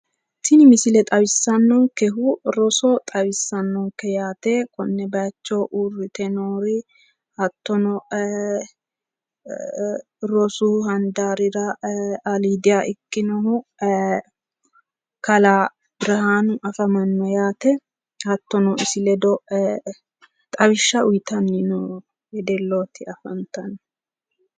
Tini misile xawissannonkehu roso xawissannonke yaate. Konne bayicho uyirrite noori hattono rosu handaarira aliidiha ikkinohu kalaa birihanu afamanno yaate. Hattono isi ledo xawishsha uyitanni noo wedellooti afantanno?